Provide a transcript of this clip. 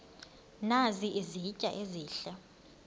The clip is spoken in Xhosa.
nazi izitya ezihle